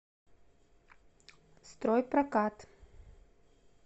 стройпрокат